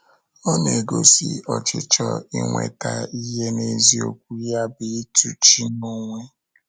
Ọ na-egosi ọchịchọ inweta ihe n’eziokwu ya bụ ịtụ chi n’onwe.